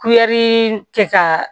kɛ ka